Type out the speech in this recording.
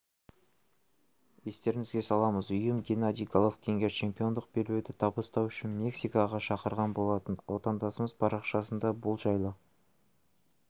естеріңізге саламыз ұйымы геннадий головкинге чемпиондық белбеуді табыстау үшін мексикаға шақырған болатын отандасымыз парақшасында бұл жайлы